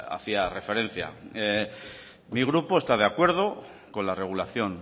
hacía referencia mi grupo está de acuerdo con la regulación